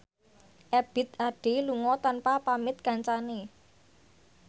Ebith Ade lunga tanpa pamit kancane